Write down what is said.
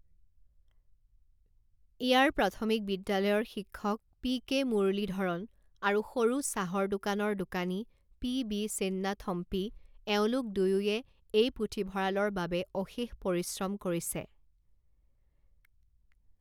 ইয়াৰ প্ৰাথমিক বিদ্যালয়ৰ শিক্ষক পি কে মুৰলীধৰণ আৰু সৰু চাহৰ দোকানৰ দোকানী পি বি চিন্নাথম্পী, এওঁলোক দুয়োয়ে এই পুথিভঁৰালৰ বাবে অশেষ পৰিশ্ৰম কৰিছে।